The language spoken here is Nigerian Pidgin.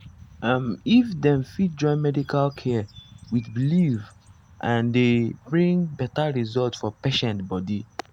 um if dem fit join medical care with belief ah e dey bring better result for patient body.